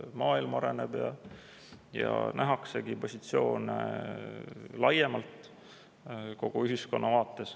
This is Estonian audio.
Maailm areneb ja nähaksegi positsioone laiemalt, kogu ühiskonna vaates.